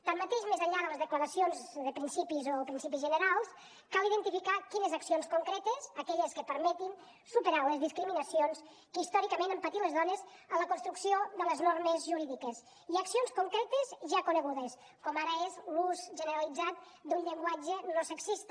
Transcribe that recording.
tanmateix més enllà de les declaracions de principis o principis generals cal identificar quines accions concretes aquelles que permetin superar les discriminacions que històricament han patit les dones en la construcció de les normes jurídiques i accions concretes ja conegudes com ara és l’ús generalitzat d’un llenguatge no sexista